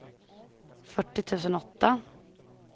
fyrtio tusen åtta